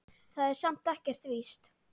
Það er samt ekkert víst.